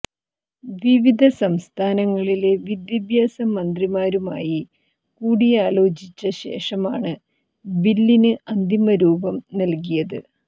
വിവിധ സംസ്ഥാനങ്ങളിലെ വിദ്യാഭ്യാസ മന്ത്രിമാരുമായി കൂടിയാലോചിച്ച ശേഷമാണ് ബില്ലിന് അന്തിമരൂപം നൽകിയത്